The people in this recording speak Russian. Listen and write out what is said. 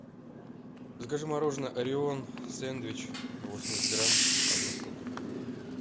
закажи мороженое ореон сендвич восемьдесят грамм одну штуку